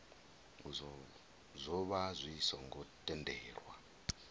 zwo vha zwi songo tendelwa